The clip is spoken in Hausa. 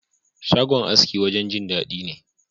Shagon aski wajen Jin dadi ne.